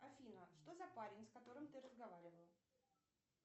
афина что за парень с которым ты разговаривала